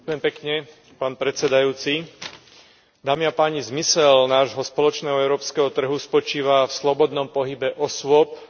Zmysel nášho spoločného európskeho trhu spočíva v slobodnom pohybe osôb a tovarov naprieč členskými štátmi Európskej únie.